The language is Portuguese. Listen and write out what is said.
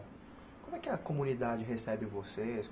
Como é que a comunidade recebe vocês?